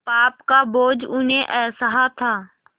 पाप का बोझ उन्हें असह्य था